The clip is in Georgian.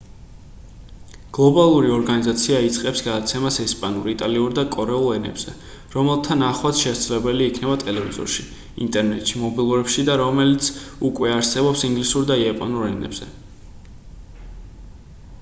გლობალური ორგანიზაცია იწყებს გადაცემას ესპანურ იტალიურ და კორეულ ენებზე რომელთა ნახვაც შესაძლებელი იქნება ტელევიზორში ინტერნეტში და მობილურებში და რომელიც უკვე არსებობს ინგლისურ და იაპონურ ენებზე